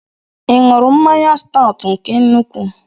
Ị ṅụrụ mmanya Staut nke nnukwu?